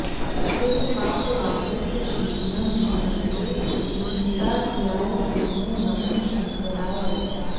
ततेः पापवृन्दस्य शीघ्रं निहन्त्रे स्मितास्याय कुर्मो नमः शङ्कराय